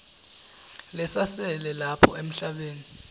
lesasele lapha emhlabeni